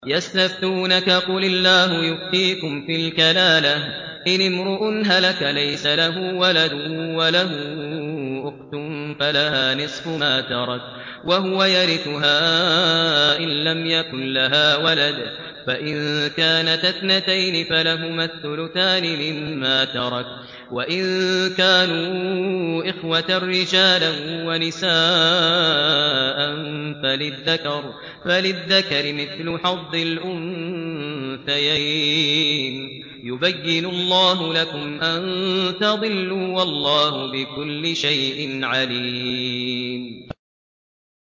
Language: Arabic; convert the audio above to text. يَسْتَفْتُونَكَ قُلِ اللَّهُ يُفْتِيكُمْ فِي الْكَلَالَةِ ۚ إِنِ امْرُؤٌ هَلَكَ لَيْسَ لَهُ وَلَدٌ وَلَهُ أُخْتٌ فَلَهَا نِصْفُ مَا تَرَكَ ۚ وَهُوَ يَرِثُهَا إِن لَّمْ يَكُن لَّهَا وَلَدٌ ۚ فَإِن كَانَتَا اثْنَتَيْنِ فَلَهُمَا الثُّلُثَانِ مِمَّا تَرَكَ ۚ وَإِن كَانُوا إِخْوَةً رِّجَالًا وَنِسَاءً فَلِلذَّكَرِ مِثْلُ حَظِّ الْأُنثَيَيْنِ ۗ يُبَيِّنُ اللَّهُ لَكُمْ أَن تَضِلُّوا ۗ وَاللَّهُ بِكُلِّ شَيْءٍ عَلِيمٌ